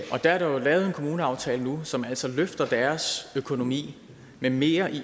og der er lavet en kommuneaftale nu som altså løfter deres økonomi med mere i